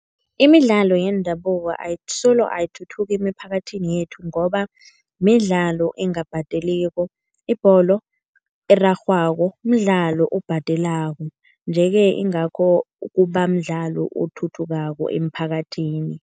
Imidlalo yendabuko solo ayithuthuki emiphakathini yethu ngoba midlalo engabhadeliko. Ibholo erarhwako mdlalo obhadelako. Nje-ke ingakho kuba mdlalo othuthukako emphakathini.